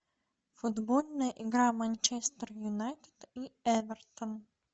футбольная игра манчестер юнайтед и эвертон